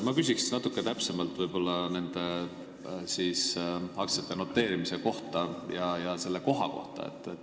Ma küsin natuke täpsemalt nende aktsiate noteerimise kohta.